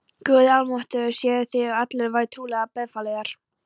Guði almáttugum séuð þér og allir vær trúlega befalaðir.